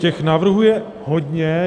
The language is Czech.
Těch návrhů je hodně.